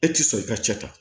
E ti sɔn i ka cɛ ta